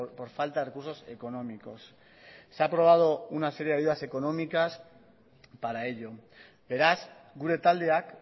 por falta de recursos económicos se ha aprobado una serie de ayudas económicas para ello beraz gure taldeak